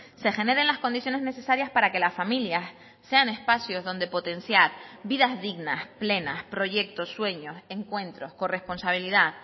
se generen las condiciones necesarias para que las familias sean espacios donde potenciar vidas dignas plenas proyectos sueños encuentros corresponsabilidad